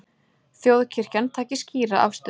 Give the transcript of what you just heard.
Þjóðkirkjan taki skýra afstöðu